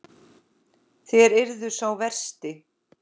Þér eruð sá versti.